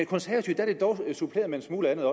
konservative er det dog suppleret med en smule andet